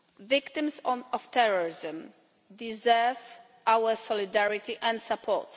Victims of terrorism deserve our solidarity and support.